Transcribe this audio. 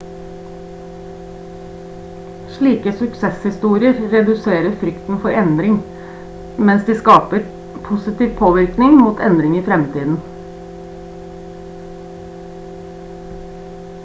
slike suksesshistorier reduserer frykten for endring mens de skaper positiv påvirkning mot endring i fremtiden